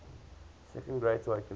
second great awakening